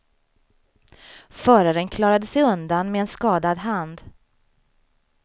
Förararen klarade sig undan med en skadad hand.